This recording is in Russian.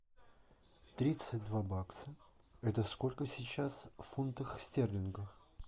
тридцать два бакса это сколько сейчас в фунтах стерлингов